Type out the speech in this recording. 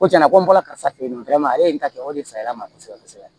Ko tiɲɛna ko n bɔra karisa fe yen ale ka kɛ o de sariya ma kosɛbɛ kosɛbɛ